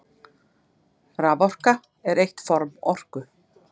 Raforka er eitt form orku.